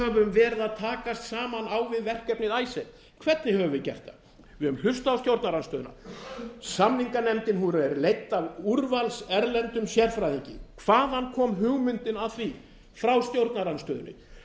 höfum verið að takast á við verkefnið icesave hvernig höfum við gert það við höfum hlustað á stjórnarandstöðuna samninganefndin hefur verið leiddi að úrvalserlendum sérfræðingi hvaðan kom hugmyndin að því frá stjórnarandstöðunni